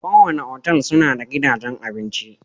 kowane otal suna da gidajen abinci.